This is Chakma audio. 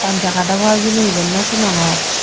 honjagat obow hejani eben no sinogor.